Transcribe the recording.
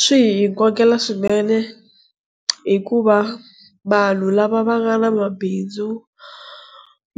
Swi hi kokela swinene hikuva vanhu lava va nga na mabindzu